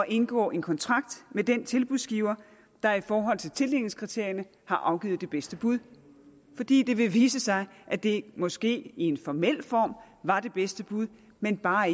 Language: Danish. indgå en kontrakt med den tilbudsgiver der i forhold til tildelingskriterierne har afgivet det bedste bud fordi det vil vise sig at det måske i en formel form var det bedste bud men bare